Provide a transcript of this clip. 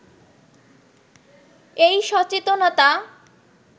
এই সচেতনতা